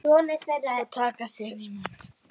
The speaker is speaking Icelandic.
Og taka sér í munn.